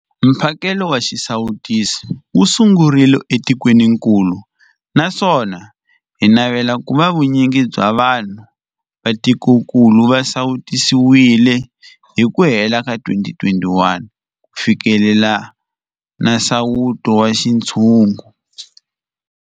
Mphakelo wa xisawutisi wu sungurile etikwenikulu naswona hi navela ku va vu nyingi bya vanhu va tikokulu va sawutisiwile hi ku hela ka 2021 ku fikelela nsawuto wa xintshungu.